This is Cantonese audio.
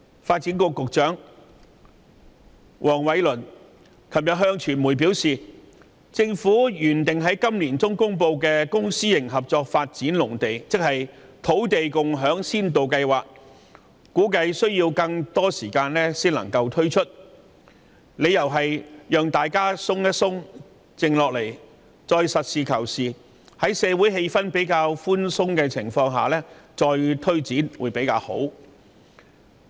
發展局局長黃偉綸昨天向傳媒表示，政府原定於今年年中公布的公私營合作發展農地計劃，估計需要更多時間方可推出，理由是先讓大家放鬆和冷靜下來，待社會氣氛緩和後，才實事求是，再作推展。